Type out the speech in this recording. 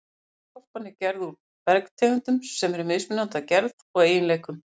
Jarðskorpan er gerð úr bergtegundum sem eru mismunandi að gerð og eiginleikum.